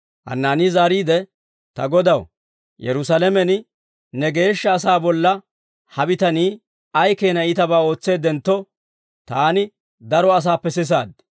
Hanaanii zaariide, «Ta Godaw, Yerusaalamen ne geeshsha asaa bolla he bitanii ay keena iitabaa ootseeddentto, taani daro asaappe sisaad.